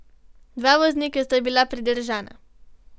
Dva voznika sta bila pridržana.